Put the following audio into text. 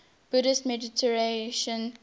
buddhist meditation master